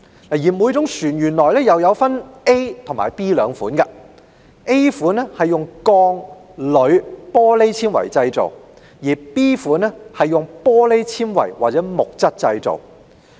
所有船隻可分類為 A 類或 B 類 ，A 類是用鋼、鋁、玻璃纖維製造 ，B 類是用玻璃纖維或木質製造。